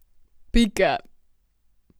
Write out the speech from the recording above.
Pika!